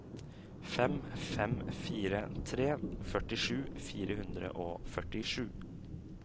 fem fem fire tre førtisju fire hundre og førtisju